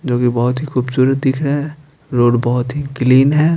जो कि बहोत ही खूबसूरत दिख रहा है रोड बहोत ही क्लीन है।